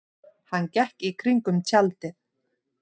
Hann gekk í kringum tjaldið.